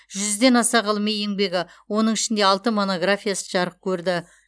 жүзден аса ғылыми еңбегі оның ішінде алты монографиясы жарық көрді